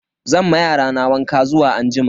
Zan ma yarana wanka zuwa anjima.